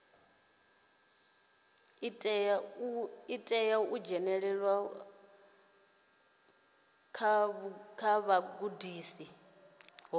tea u dzhenelela vhugudisi ho